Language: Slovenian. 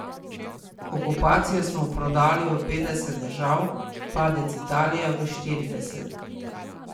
Okupacijo smo prodali v petdeset držav, Padec Italije v štirideset.